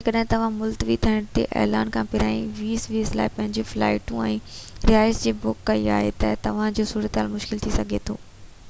جيڪڏهن توهان ملتوي ٿيڻ جي اعلان کان پهريان 2020 لاءِ پنهنجيون فلائيٽون ۽ رهائش جي بُڪ ڪئي آهي ته توهان جي صورتحال مشڪل ٿي سگهي ٿي